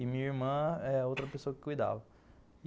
E minha irmã é outra pessoa que cuidava.